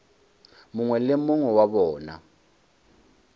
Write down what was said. mongwe le mongwe wa bona